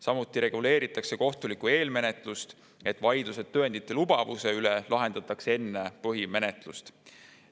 Samuti reguleeritakse kohtulikku eelmenetlust, et vaidlused tõendite lubatavuse üle lahendataks enne põhimenetlust.